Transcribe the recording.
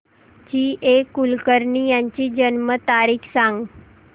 जी A Kulkarni यांची जन्म तारीख सांग